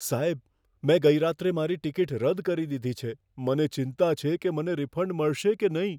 સાહેબ, મેં ગઈ રાત્રે મારી ટિકિટ રદ કરી દીધી છે. મને ચિંતા છે કે મને રિફંડ મળશે કે નહીં.